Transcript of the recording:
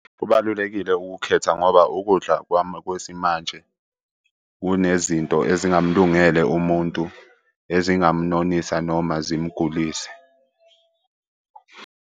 Kubalulekile ukukukhetha ngoba ukudla kwami kwesimanje kunezinto ezingamulungele umuntu ezingamnonisa noma zimugulise.